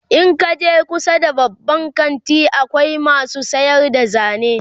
in kaje kusa da babban kanti akwai masu sayar da zane